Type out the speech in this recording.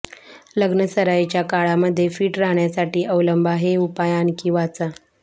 लग्नसराईच्या काळामध्ये फिट राहण्यासाठी अवलंबा हे उपाय आणखी वाचा